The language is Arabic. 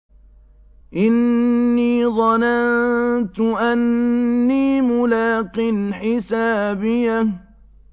إِنِّي ظَنَنتُ أَنِّي مُلَاقٍ حِسَابِيَهْ